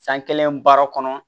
San kelen baara kɔnɔ